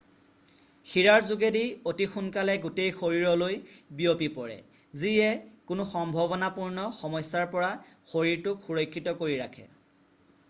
শিৰাৰ যোগেদি অতি সোনকালে গোটেই শৰীৰলৈ বিয়পি পৰে যিয়ে কোনো সম্ভাৱনাপূ্ৰ্ণ সমস্যাৰ পৰা শৰীৰটোক সুৰক্ষিত কৰি ৰাখে